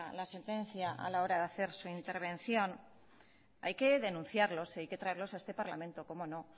la sentencia a la hora de hacer su intervención hay que denunciarlos y hay que traerlos a este parlamento cómo no